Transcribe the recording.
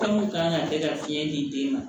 Fɛn mun kan ka kɛ ka fiɲɛ di den ma